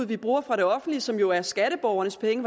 vi bruger fra det offentlige som jo er skatteborgernes penge